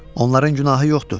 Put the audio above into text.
Onların günahı yoxdur.